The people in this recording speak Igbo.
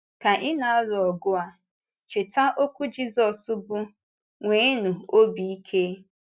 Ka ị na-alụ ọgụ a, cheta okwu Jisọs bụ́, “Nwénụ obi ike!”